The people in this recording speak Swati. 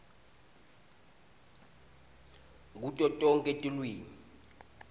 kuto tonkhe tilwimi